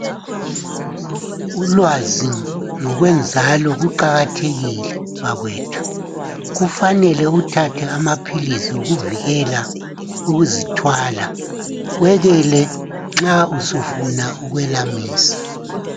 Ulwazi ngokwenzalo kuqakathekile bakwethi, kufanele uthathe amaphilisi wokuvikela ukuzithwala, wekele nxa usufuna ukwelamisa.